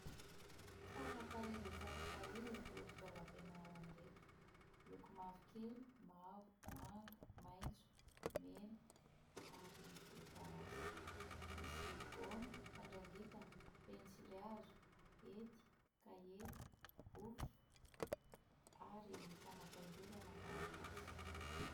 Tsara tarehy dia tsara tarehy ireto fitaovam-pianarana ireto, miloko mavokely, mavo, manga, maitso, mena ary volomparasy. Misy gaoma, fandrangitana, pensily hazo, hety, kahie, boky ary fanapaingorana taratasy.